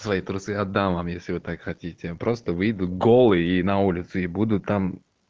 свои трусы отдам вам если вы так хотите просто выйду голый и на улицу и буду там